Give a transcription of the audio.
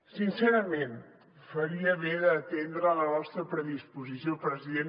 sincerament faria bé d’atendre la nostra predisposició president